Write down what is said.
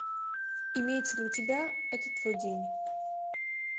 имеется ли у тебя это твой день